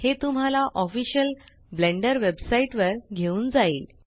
हे तुम्हाला official blender website वर घेऊन जाईल